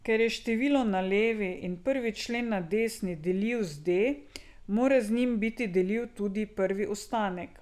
Ker je število na levi in prvi člen na desni deljiv z D, mora z njim biti deljiv tudi prvi ostanek.